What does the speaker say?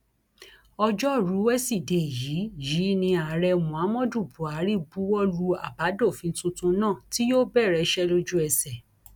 ọjọrùú wẹsídẹẹ yìí yìí ní ààrẹ muhammadu buhari buwọ lu àbádòfin tuntun náà tí yóò bẹrẹ iṣẹ lójú ẹsẹ